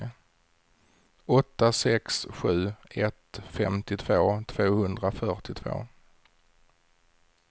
åtta sex sju ett femtiotvå tvåhundrafyrtiotvå